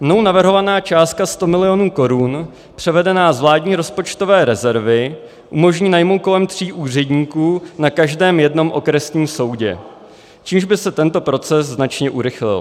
Mnou navrhovaná částka 100 milionů korun převedená z vládní rozpočtové rezervy umožní najmout kolem tří úředníků na každém jednom okresním soudě, čímž by se tento proces značně urychlil.